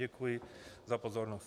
Děkuji za pozornost.